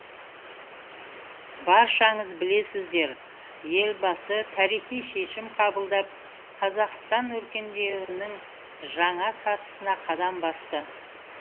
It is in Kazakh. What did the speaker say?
баршаңыз білесіздер елбасы тарихи шешім қабылдап қазақстан өркендеудің жаңа сатысына қадам басты